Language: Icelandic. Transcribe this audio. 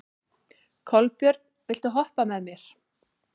Kolbjörn, viltu hoppa með mér?